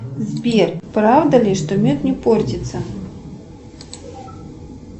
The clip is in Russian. сбер правда ли что мед не портится